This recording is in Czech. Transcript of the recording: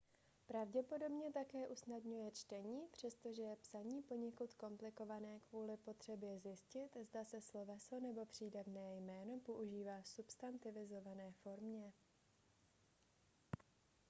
pravděpodobně také usnadňuje čtení přestože je psaní poněkud komplikované kvůli potřebě zjistit zda se sloveso nebo přídavné jméno používá v substantivizované formě